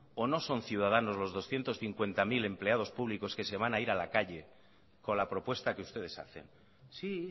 o no son ciudadanos los doscientos cincuenta mil empleados públicos que se van a ir a la calle con la propuesta que ustedes hacen sí